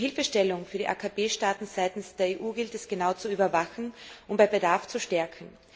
Die Hilfestellung für die AKP Staaten seitens der EU gilt es genau zu überwachen und bei Bedarf zu stärken.